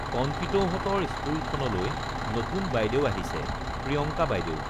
কণপিতৌহতঁৰ স্কুলখনলৈ নতুন বাইদেউ আহিছে প্ৰিয়ংকা বাইদেউ